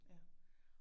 Ja